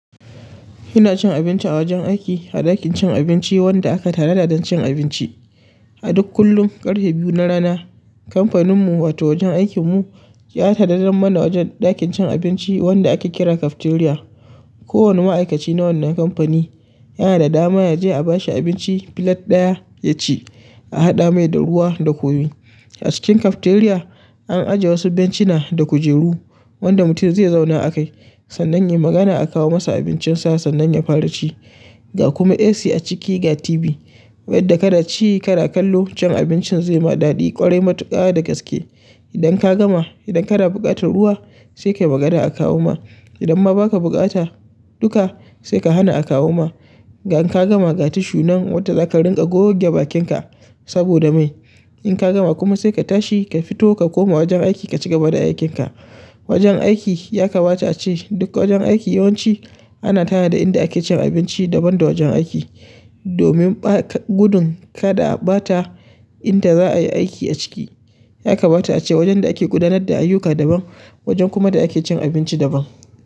Ina cin abinci a wajen aiki, a ɗakin cin abinci wanda aka tanada don cin abinci. A duk kullum, ƙarfe biyu na rana, kamfaninmu wato wajen aikinmu, ya tanadan mana wajen ɗakin cin abinci wanda ake kira cafeteria. Kowane ma'aikaci na wannan kamfani, yana da dama yaje a bashi abinci filet ɗaya ya ci, a haɗa mai da ruwa da kunu. A cikin cafeteria, an ajiye wasu bencina da kujeru, wanda mutum zai zauna a kai sannan yayi magana a kawo masa abincinsa sannan ya fara ci. Ga kuma AC a ciki ga TV. Yadda kanaci, kana kallo cin abincin zai ma daɗi ƙwarai matuƙa da gaske. Idan ka gama, idan kana buƙatar ruwa sai ka yi magana a kawo ma. Idan ma ba ka buƙata duka sai ka hana a kawo ma. Ga in ka gama ga tishu nan wadda za ka rinƙa goge bakinka saboda mai. In ka gama kuma sai ka tashi ka fito ka koma wajen aiki ka cigaba da aikinka. Wajen aiki ya kamata ace duk wajen aiki yawanci ana tanada inda ake cin abinci daban da wajen aiki. Domin bata gudun kaɗa a bata inda za a yi aiki a ciki. Ya kamata ace wajen da ake gudanar da ayyuka daban, wajen kuma da ake cin abinci daban.